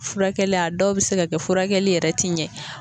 Furakɛli a dɔw bi se ka kɛ furakɛli yɛrɛ ti ɲɛ